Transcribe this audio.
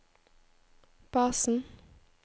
basen